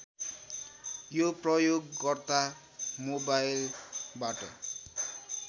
यो प्रयोगकर्ता मोबाइलबाट